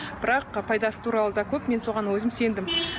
бірақ пайдасы туралы да көп мен соған өзім сендім